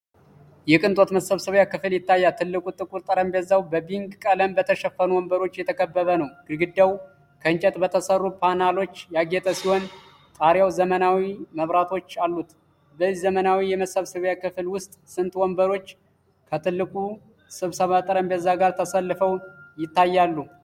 የቅንጦት የመሰብሰቢያ ክፍል ይታያል። ትልቁ ጥቁር ጠረጴዛው በbeige ቀለም በተሸፈኑ ወንበሮች የተከበበ ነው። ግድግዳው ከእንጨት በተሠሩ ፓነሎች ያጌጠ ሲሆን፣ ጣሪያው ዘመናዊ መብራቶች አሉት። በዚህ ዘመናዊ የመሰብሰቢያ ክፍል ውስጥ ስንት ወንበሮች ከትልቁ ስብሰባ ጠረጴዛ ጋር ተሰልፈው ይታያሉ?